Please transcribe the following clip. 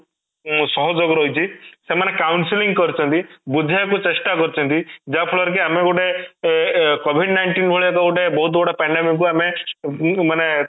ସହଯୋଗ ରହିଛି ସେମାନେ council କରିଛନ୍ତି ବୁଝେଇବାକୁ ଚେଷ୍ଟା କରିଛନ୍ତି ଯାହାଫଳରେ କି ଆମେ ଗୋଟେ ଏଁ covid nineteen ଭଳି ଗୋଟେ ବହୁତ ବଡ pandemic କୁ ଆମେ ମାନେ